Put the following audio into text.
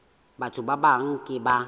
batho ba bang ke ba